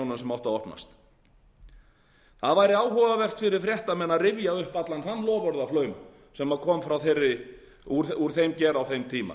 sem áttu að opnast það væri áhugavert fyrir fréttamenn að rifja upp allan þann loforðaflaum sem kom úr þeim geira á þeim tíma